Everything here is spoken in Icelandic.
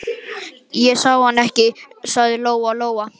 Ég sá hann ekki, sagði Lóa-Lóa.